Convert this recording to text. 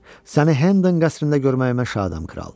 Səni Hendon qəsrində görməyimə şadam kral.